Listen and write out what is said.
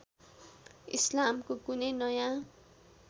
इस्लामको कुनै नयाँ